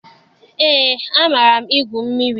Eé, amaara m egwu mmiri.